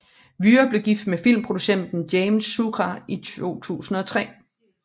Wührer blev gift med filmproducenten James Scura i 2003